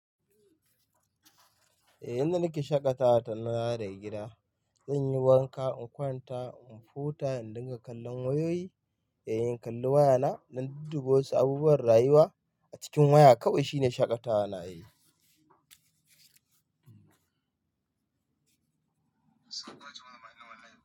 Eh, yanzu nake shaƙatawa tare da gida. Zanyi wanka in kwanta in huta in dinga kallon wayoyi. Eh in kalli wayana, na dudduba abubuwan rayuwa a cikin waya. Kawai shine shaƙatawa na yayi.